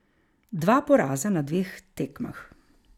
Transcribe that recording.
Dva poraza na dveh tekmah.